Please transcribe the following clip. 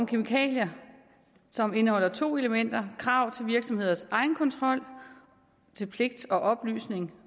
kemikalier som indeholder to elementer krav til virksomheders egenkontrol og oplysnings